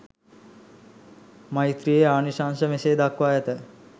මෛත්‍රියේ ආනිශංස මෙසේ දක්වා ඇත.